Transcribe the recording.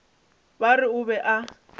ba re o be a